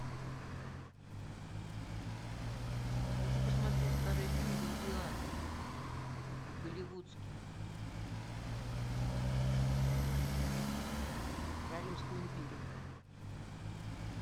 хочу посмотреть старый фильм гладиатор голливудский про римскую империю